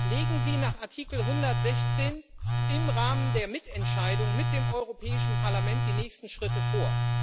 Legen Sie nach Artikel 116, im Rahmen der Mitentscheidung mit dem Europäischen Parlament, die nächsten Schritte vor.